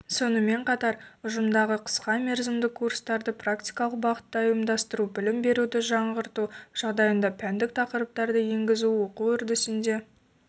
сонымен қатар ұжымдағы қысқа мерзімді курстарды практикалық бағытта ұйымдастыру білім беруді жаңғырту жағдайында пәндік тақырыптарды енгізу оқу үрдісінде